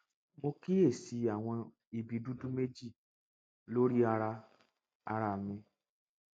mo kíyè sí àwọn ibi dúdú méjì lórí ara ara mi